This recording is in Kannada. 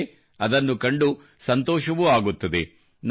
ಅಲ್ಲದೆ ಅದನ್ನು ಕಂಡು ಸಂತೋಷವೂ ಆಗುತ್ತದೆ